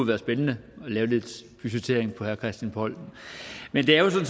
være spændende at lave lidt budgettering af christian poll men der er jo